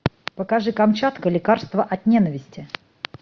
покажи камчатка лекарство от ненависти